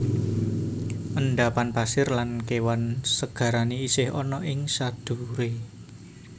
Endapan pasir lan kewan segarane isih ana ing sadhuwure